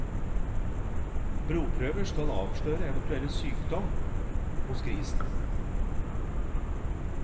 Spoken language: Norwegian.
Blodprøver avslører eventuell sykdom hos grisen.